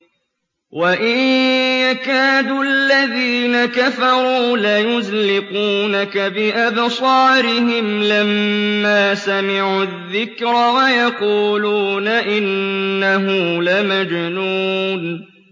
وَإِن يَكَادُ الَّذِينَ كَفَرُوا لَيُزْلِقُونَكَ بِأَبْصَارِهِمْ لَمَّا سَمِعُوا الذِّكْرَ وَيَقُولُونَ إِنَّهُ لَمَجْنُونٌ